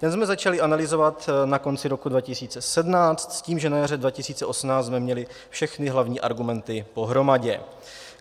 Ten jsme začali analyzovat na konci roku 2017 s tím, že na jaře 2018 jsme měli všechny hlavní argumenty pohromadě.